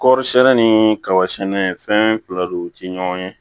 Kɔɔri sɛnɛ ni kaba sɛnɛ fɛn fila de ti ɲɔgɔn ye